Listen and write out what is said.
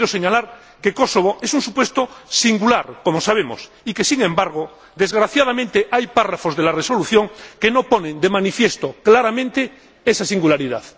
Quiero señalar que Kosovo es un supuesto singular, como sabemos, y que sin embargo, desgraciadamente, hay apartados de la Resolución que no ponen de manifiesto claramente esa singularidad.